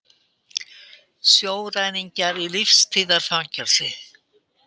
Sjóræningjar í lífstíðarfangelsi